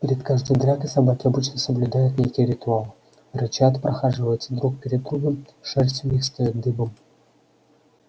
перед каждой дракой собаки обычно соблюдают некий ритуал рычат прохаживаются друг перед другом шерсть у них встаёт дыбом